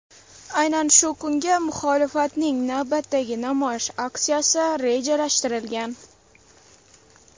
Aynan shu kunga muxolifatning navbatdagi namoyish aksiyasi rejalashtirilgan.